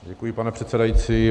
Děkuji, pane předsedající.